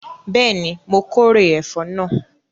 Bẹ́ẹ̀ni, my kórè ẹ̀fọ́ náà